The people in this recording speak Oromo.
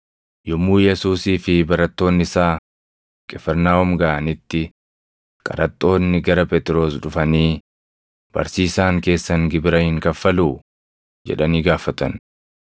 Yommuu Yesuusii fi barattoonni isaa Qifirnaahom gaʼanitti qaraxxoonni gara Phexros dhufanii, “Barsiisaan keessan gibira hin kaffaluu?” jedhanii gaafatan.